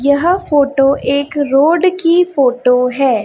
यह फोटो एक रोड की फोटो है।